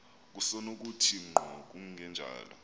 kusenokuthi ngqo kungenjalo